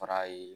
Fara ye